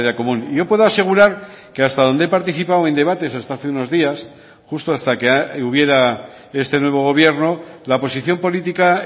común yo puedo asegurar que hasta donde he participado en debates hasta hace unos días justo hasta que hubiera este nuevo gobierno la posición política